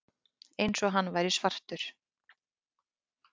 Eins og hann væri svartur.